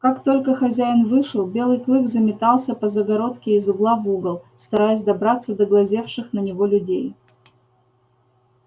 как только хозяин вышел белый клык заметался по загородке из угла в угол стараясь добраться до глазевших на него людей